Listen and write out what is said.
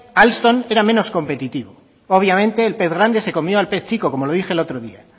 alstom era menos competitivo obviamente el pez grande se comió al pez chico como le dije el otro día